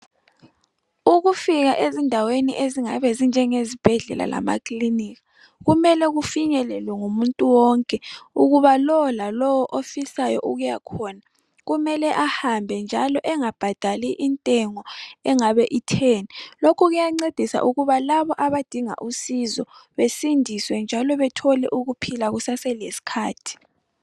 Ukufika ezindaweni ezingabe zinjengesibhedlela lama clinika kumele kufinyelwe ngumuntu wonke ukuba lo lalo ofihlayo ukuyakhona kumele ahambe njalo engabhadali intengo engabe ithe, lokhu kuyancedisa ukuba laba abadinga usizo besindiswe njalo bethole ukuphila kusaselesikhathi